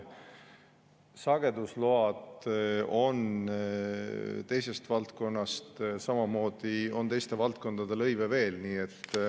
Sagedusload on teisest valdkonnast, samamoodi on teiste valdkondade lõive veel.